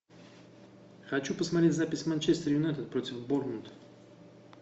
хочу посмотреть запись манчестер юнайтед против борнмут